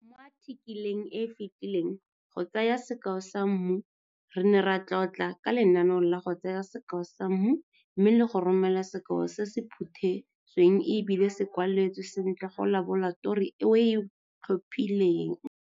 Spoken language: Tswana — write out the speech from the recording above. Mo athikeleng e e fetileng "Go tsaya sekao sa mmu" re ne ra tlotla ka lenaneo la go tsaya sekao sa mmu mme le go romela sekao se se phuthesweng e bile se kwaletswe sentle go laboratori e o e tlhophileng.